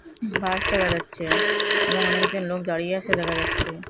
বাঁশ দেখা যাচ্ছে এবং অনেকজন লোক দাঁড়িয়ে আসে দেখা যাচ্ছে।